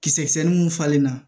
Kisɛ kisɛnin mun falenna